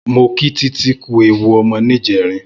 Mó kí Titi kù éwú ọmọ nijèrín